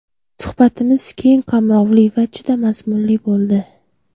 Suhbatimiz keng qamrovli va juda mazmunli bo‘ldi.